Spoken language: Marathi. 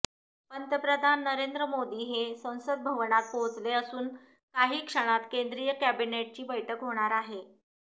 पंतप्रधान नरेंद्र मोदी हे संसद भवनात पोहोचले असून काही क्षणात केंद्रीय कॅबिनेटची बैठक होणार आहे